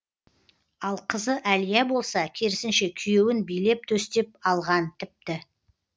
ал қызы әлия болса керісінше күйеуін билеп төстеп алған тіпті